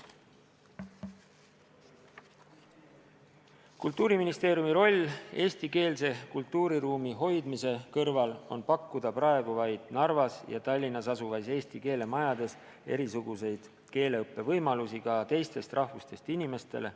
Kultuuriministeeriumi roll eestikeelse kultuuriruumi hoidmise kõrval on pakkuda praegu vaid Narvas ja Tallinnas asuvates eesti keele majades erisuguseid keeleõppe võimalusi ka teistest rahvustest inimestele.